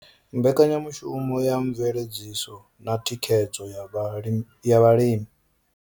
Mbekanyamushumo ya mveledziso na thikhedzo ya vhalimi.